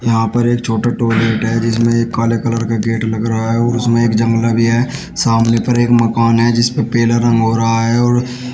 यहां पर एक छोटा टॉयलेट है जिसमें एक काले कलर का गेट लग रहा है और उसमें एक जंगला भी है सामने फ़िर एक मकान है जिस पे पीले रंग हो रहा है और --